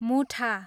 मुठा